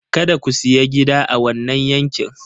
Kada ku sayi gida a wannan yankin!